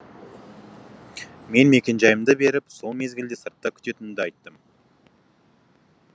мен мекенжайымды беріп сол мезгілде сыртта күтетінімді айттым